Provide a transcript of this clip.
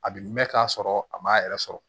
A bi mɛn k'a sɔrɔ a ma yɛrɛ sɔrɔ